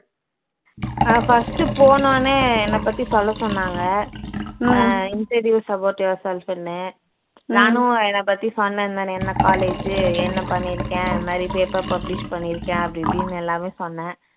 அஹ் first போனோனே என்னை பத்தி சொல்ல சொன்னாங்க அஹ் introduce about yourself ன்னு நானும் என்னை பத்தி சொன்னேன் இந்த மாதிரி என்ன college என்ன பண்ணிருக்கேன் இது மாதிரி paper publish பண்ணிருக்கேன் அப்படி இப்படின்னு எல்லாமே சொன்னேன்